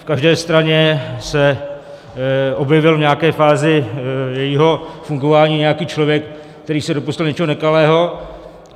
V každé straně se objevil v nějaké fázi jejího fungování nějaký člověk, který se dopustil něčeho nekalého.